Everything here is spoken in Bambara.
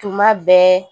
Tuma bɛɛ